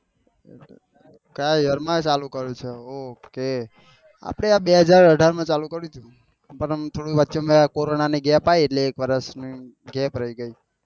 Year માં ચાલુ કર્યું છે ok આપડે બે હજાર અઢાર માં ચાલુ કર્યું હતું ભાઈ અને થોડું વચમાં કોરોના ની ગેપ યી એટલે એક વર્ષ ગેપ રહી ગઈ.